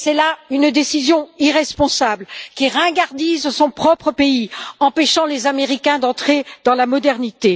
C'est là une décision irresponsable qui ringardise son propre pays, en empêchant les Américains d'entrer dans la modernité.